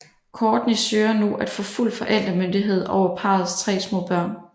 Kourtney søger nu at få fuld forældremyndighed over parrets tre små børn